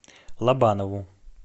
лобанову